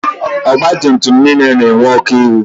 Ọgba tum tum niile na-enwe ọkụ ihu.